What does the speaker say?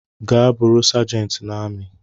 Gaa bụrụi sergent na ami!